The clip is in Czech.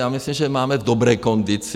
Já myslím, že máme v dobré kondici.